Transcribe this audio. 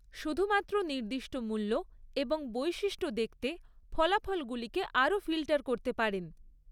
শুধুমাত্র নির্দিষ্ট মূল্য এবং বৈশিষ্ট্য দেখতে ফলাফলগুলিকে আরও ফিল্টার করতে পারেন।